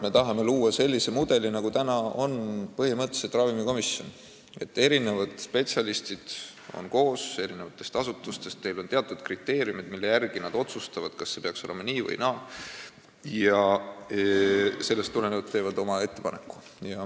Me tahame luua sellise mudeli, nagu on põhimõtteliselt ravimikomisjonis: spetsialistid eri asutustest on koos, neil on teatud kriteeriumid, mille järgi nad otsustavad, kas peaks olema nii või naa, ja sellest tulenevalt teevad oma ettepaneku.